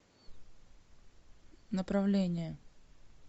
направление